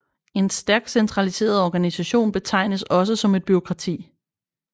En stærkt centraliseret organisation betegnes også som et bureaukrati